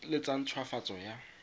le tsa nt hwafatso ya